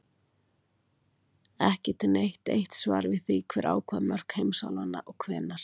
Ekki er til neitt eitt svar við því hver ákvað mörk heimsálfanna og hvenær.